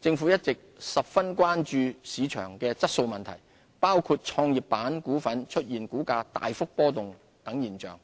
政府一直十分關注市場質素問題，包括創業板股份出現股價大幅波動等現象，